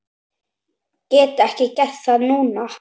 Get ég gert það núna?